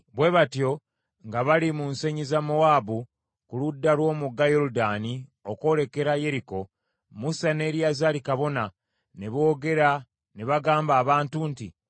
Bwe batyo, nga bali mu nsenyi za Mowaabu, ku ludda lw’omugga Yoludaani okwolekera Yeriko, Musa ne Eriyazaali kabona, ne boogera ne bagamba abantu nti,